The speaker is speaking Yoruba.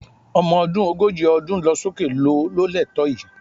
Ọmọ ọdún ogójì ọdún lọ sókè ló lẹ́tọ̀ọ́ èyí